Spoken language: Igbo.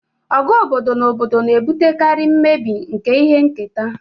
Ọgụ obodo na obodo na-ebutekarị mmebi nke ihe nketa